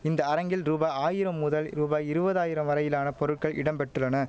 இந்த அரங்கில் ரூபாய் ஆயிரம் முதல் ரூபாய் இருவதாயிரம் வரையிலான பொருட்கள் இடம் பெற்றுள்ளன